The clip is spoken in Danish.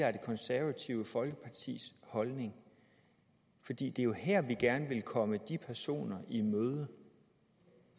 er det konservative folkepartis holdning fordi det jo er her vi gerne vil komme de personer i møde